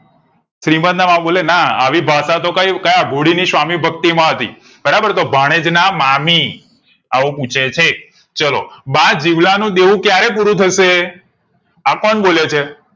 શ્રિમંત ના મામા બોલે ના આવી ભાષા તો કઈ ક્યા ભોળી ની સ્વામીભક્તિ માં હતી બરાબર તો ભાણેજ ના મામી એવું પુછે છે ચાલો બા દેવલા નું દેવું કયારે પુરૂ થશે આ કોણ બોલે છે